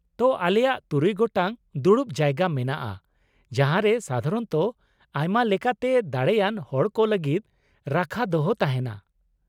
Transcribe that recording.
ᱛᱳ, ᱟᱞᱮᱭᱟᱜ ᱛᱩᱨᱩᱭ ᱜᱚᱴᱟᱝ ᱫᱩᱲᱩᱵ ᱡᱟᱭᱜᱟ ᱢᱮᱱᱟᱜᱼᱟ ᱡᱟᱦᱟᱸ ᱨᱮ ᱥᱟᱫᱷᱟᱨᱚᱱᱚᱛᱚ ᱟᱭᱢᱟ ᱞᱮᱠᱟᱛᱮ ᱫᱟᱲᱮᱭᱟᱱ ᱦᱚᱲ ᱠᱚ ᱞᱟᱹᱜᱤᱫ ᱨᱟᱠᱷᱟ ᱫᱚᱦᱚ ᱛᱟᱦᱮᱱᱟ ᱾